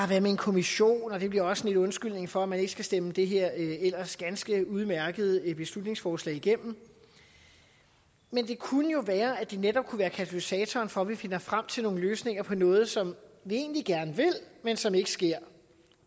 her med en kommission og det bliver også lidt en undskyldning for at man ikke skal stemme det her ellers ganske udmærkede beslutningsforslag igennem men det kunne jo være at det netop kunne være katalysator for at vi finder frem til nogle løsninger på noget som vi egentlig gerne vil men som ikke sker